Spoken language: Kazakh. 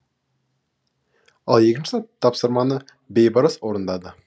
ал екінші тапсырманы бейбарыс орындады